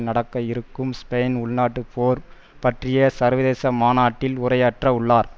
நடக்க இருக்கும் ஸ்பெயினின் உள் நாட்டுப் போர் பற்றிய சர்வதேச மாநாட்டில் உரையாற்ற உள்ளார்